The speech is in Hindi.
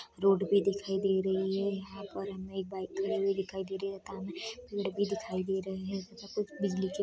रोड भी दिखाई दे रही है यहां पर हमे एक बाइक खड़ी हुई दिखाई दे रही है तथा हमें पेड़ भी दिखाई दे रहे है तथा कुछ बिजली के --